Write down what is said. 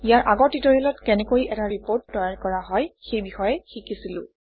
ইয়াৰ আগৰ ট্যুটৰিয়েত কেনেকৈ এটা ৰিপৰ্ট তৈয়াৰ কৰা হয় সেই বিষয়ে শিকিছিলো